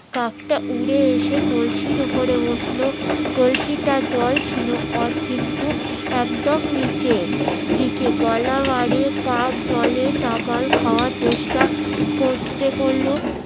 কাক তা উড়ে এসে কলসির ওপরে বসলো কলসিটার জল ছিল কিন্তু একদম নিচে দিকে গলা বাড়িয়ে কাক জলে খাওয়ার চেষ্টা করতে গেলো